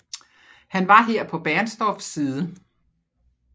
Han var her på Bernstorffs side